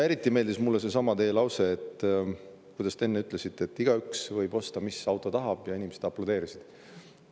Eriti meeldis mulle see teie lause, et igaüks võib osta sellise auto, mis ta tahab, ja inimesed aplodeerisid.